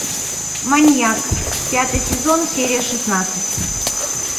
маньяк пятый сезон серия шестнадцать